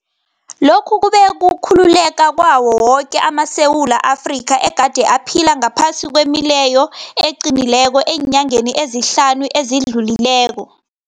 Lokhu kube kukhululeka kwawo woke amaSewula Afrika egade aphila ngaphasi kwemileyo eqinileko eenyangeni ezihlanu ezidlulileko.